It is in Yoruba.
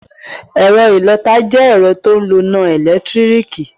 Ẹ̀ro ìlọta jẹ́ ẹ̀rọ ti o n loná ẹ̀lẹ́tírìkì.